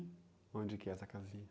Onde que é essa casinha?